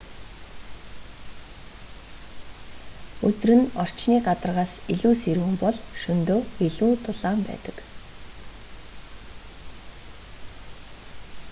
өдөр нь орчны гадаргаас илүү сэрүүн бол шөнөдөө илүү дулаан байдаг